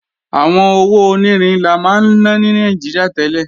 Àwọn owó onírin la máa ná ní Nàìjíríà tẹ́lẹ̀